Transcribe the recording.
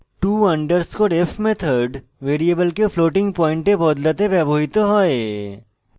to _ f method ভ্যারিয়েবলকে floating পয়েন্টে বদলাতে ব্যবহৃত হয়